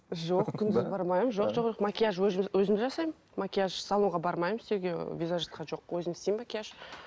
жоқ күнде бармаймын жоқ жоқ макияж өзім жасаймын макияж салонға бармаймын істеуге визажистке жоқ өзім істеймін макияж